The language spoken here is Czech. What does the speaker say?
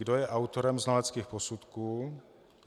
Kdo je autorem znaleckých posudků?